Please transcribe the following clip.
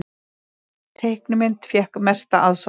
Teiknimynd fékk mesta aðsókn